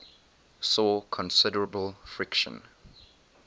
saw considerable friction